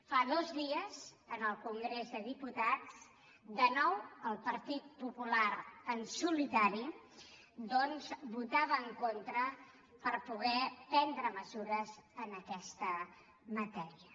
fa dos dies en el congrés dels diputats de nou el partit popular en solitari votava en contra de poder prendre mesures en aquesta matèria